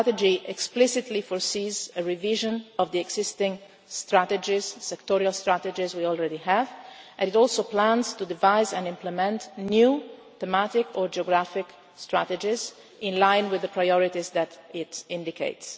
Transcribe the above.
The strategy explicitly foresees a revision of the existing strategies sectoral strategies we already have and it also plans to devise and implement new, thematic or geographic strategies in line with the priorities that it indicates.